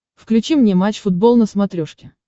включи мне матч футбол на смотрешке